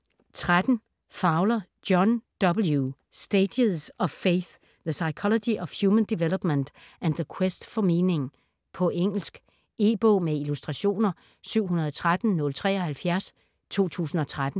13 Fowler, John W.: Stages of faith: the psychology of human development and the quest for meaning På engelsk. E-bog med illustrationer 713073 2013.